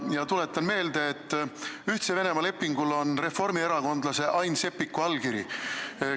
Ma tuletan meelde, et Ühtse Venemaaga sõlmitud lepingul on reformierakondlase Ain Seppiku allkiri.